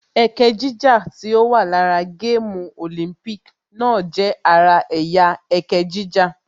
Ẹkẹ jíjà tí ó wà lára gáàmù Olympic náà jẹ́ ara ẹ̀yà ẹkẹ jíjà